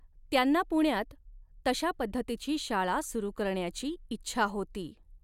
त्यांना पुण्यात तशा पद्धतीची शाळा सुरू करण्याची इच्छा होती.